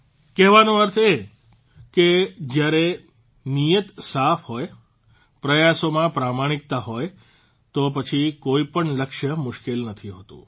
કહેવાનો અર્થ એ છે કે જયારે નિયત સાફ હોય પ્રયાસોમાં પ્રમાણિકતા હોય તો પછી કોઇપણ લક્ષ્ય મુશ્કેલ નથી રહેતું